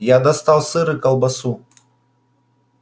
я достал сыр и колбасу